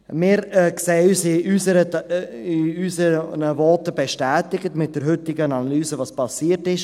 Wir sehen uns mit der heutigen Analyse, was geschehen ist, in unseren Voten bestätigt.